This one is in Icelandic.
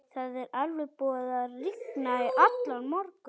Það er alveg búið.